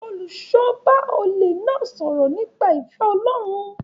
Olùṣọ́àgùtàn bá olè náà sọ̀rọ̀ nípa ìfẹ́ Ọlọ́run